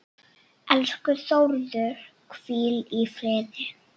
Elsku Þórður, hvíl í friði.